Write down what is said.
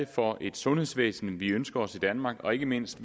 for et sundhedsvæsen vi ønsker os i danmark og ikke mindst